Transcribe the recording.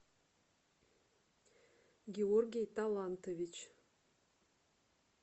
георгий талантович